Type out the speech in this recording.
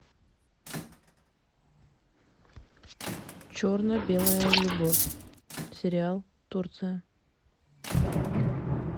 черно белая любовь сериал турция